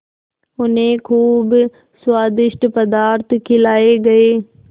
उन्हें खूब स्वादिष्ट पदार्थ खिलाये गये